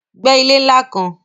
Gbẹ́ ilé ńlá kan.